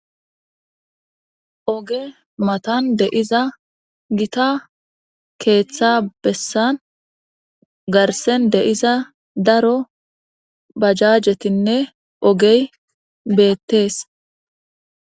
Oge matan deiza gita keeththa bessan garsen deiza daro bajajetinne ogey beettees.